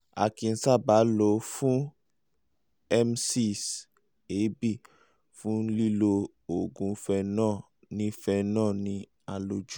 a kì í sábà lọ fún emesis èébì fún lílo oògùn phenol ní phenol ní àlòjù